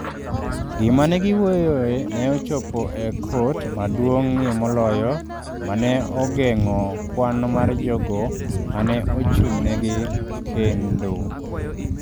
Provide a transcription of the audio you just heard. Gima ne giwuoyoe ne ochopo e kot maduong’ie moloyo, ma ne ogeng’o kwan mar jogo ma ne ochung’negi kendo.